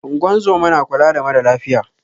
Ingozuma na kula da mara lafiya